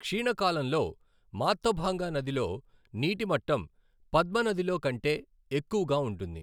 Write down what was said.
క్షీణ కాలంలో మాత్థభాంగా నదిలో నీటి మట్టం పద్మ నదిలో కంటే ఎక్కువగా ఉంటుంది.